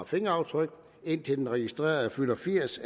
fingeraftryk indtil den registrerede fylder firs